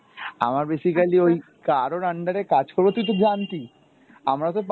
আমার basically ওই কারোর under এ করব, তুই তো জানতি আমারা